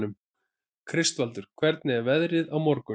Kristvaldur, hvernig er veðrið á morgun?